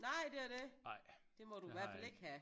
Nej det er det det må du hvert fald ikke have